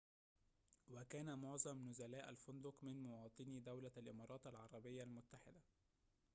وكان معظم نزلاء الفندق من مواطني دولة الإمارات العربية المتحدة